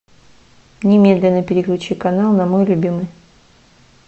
немедленно переключи канал на мой любимый